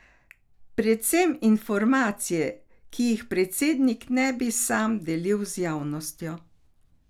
Predvsem informacije, ki jih predsednik ne bi sam delil z javnostjo.